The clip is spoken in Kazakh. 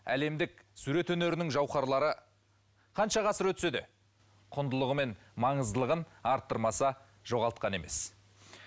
әлемдік сурет өнерінің жаухарлары қанша ғасыр өтсе де құндылығы мен маңыздылығын арттырмаса жоғалтқан емес